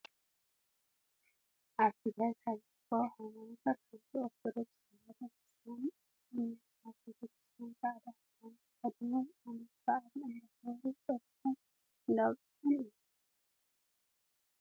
ኣብ ትግራይ ካብ ዝርከባ ሃይማኖታት ሓንቲ ኦርቶዶክስ ተዋህዶ ክርስትያን ኣመንቲ ኣብ ቤተ ክርስትያን ፃዕዳ ክዳን ተከዲኖም ዓመት ባዓል እንዳክበሩን ፆሎቶም እንዳብፅሑን እዮም።